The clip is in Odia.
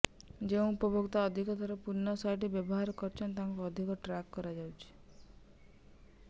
ଯେଉଁ ଉପଭୋକ୍ତା ଅଧିକ ଥର ପର୍ଣ୍ଣ ସାଇଟ୍ ବ୍ୟବହାର କରୁଛନ୍ତି ତାଙ୍କୁ ଅଧିକ ଟ୍ରାକ୍ କରାଯାଉଛି